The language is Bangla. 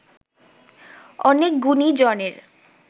অনেক গুণীজনের